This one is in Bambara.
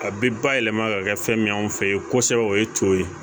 A bɛ ba yɛlɛma ka kɛ fɛn min ye anw fɛ ye kosɛbɛ o ye to ye